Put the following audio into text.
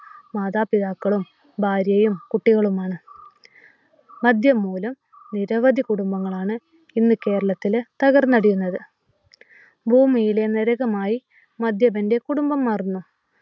മാതാപിതാക്കളും, ഭാര്യയും, കുട്ടികളുമാണ്. മദ്യം മൂലം നിരവധി കുടുംബങ്ങളാണ് ഇന്ന് കേരളത്തില് തകർന്നടിയുന്നത്. ഭൂമിയിലെ നരകമായി മദ്യപന്റെ കുടുംബം മാറുന്നു